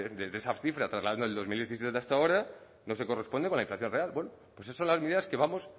de esa cifra trasladando el dos mil diecisiete hasta ahora no se corresponde con la inflación real bueno pues eso las medidas que vamos